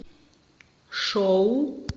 шоу